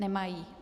Nemají.